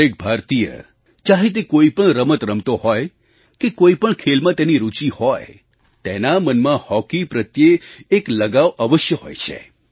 દરેક ભારતીય ચાહે તે કોઈ પણ રમત રમતો હોય કે કોઈ પણ ખેલમાં તેની રૂચિ હોય તેના મનમાં હૉકી પ્રત્યે એક લગાવ અવશ્ય હોય છે